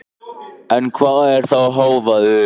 En hvað er þá hávaði?